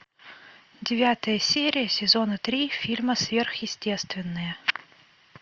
девятая серия сезона три фильма сверхъестественное